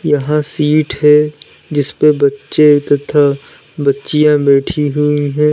यहां सीट है जिसपे बच्चे तथा बच्चियां बैठी हुई हैं।